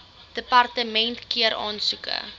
departement keur aansoeke